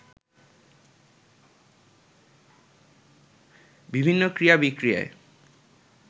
বিভিন্ন ক্রিয়া, বিক্রিয়ায়